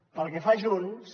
pel que fa a junts